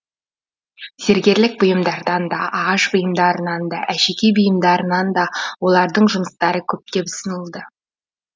зергерлік бұйымдардан да ағаш бұйымдарынан да әшекей бұйымдарынан да олардың жұмыстары көптеп ұсынылды